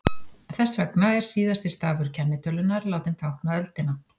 Þess vegna er síðasti stafur kennitölunnar látinn tákna öldina.